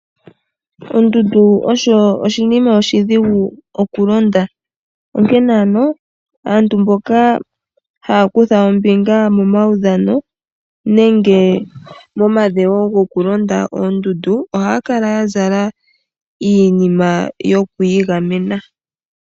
Ondudu osho oshima oshidhugu okulonda, onkene ano aantu mboka haakutha ombinga momawudhano nenge mo madhewo gokulonda oondudu ohaya kala yazala iinima yoku igamena.